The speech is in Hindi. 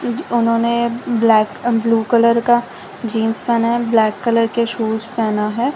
उन्होंने ब्लैक ब्लू कलर का जींस पहना है ब्लैक कलर के शूज पहना है।